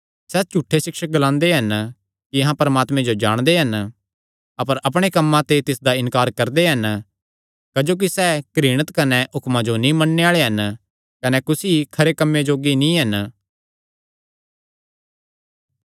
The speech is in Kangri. सैह़ झूठे सिक्षक ग्लांदे हन कि अहां परमात्मे जो जाणदे हन अपर अपणे कम्मां ते तिसदा इन्कार करदे हन क्जोकि सैह़ घृणित कने हुक्मां नीं मन्नणे आल़े हन कने कुसी खरे कम्मे जोग्गे नीं हन